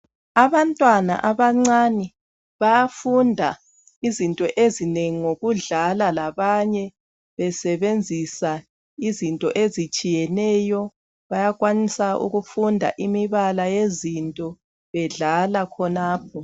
Abantwana abancane bayafunda izinto ezinengi ngokudlala labanye besebenzisa izinto ezitshiyeneyo. Bayakwanisa ukufunda imibala yezinto bedlala khonapho.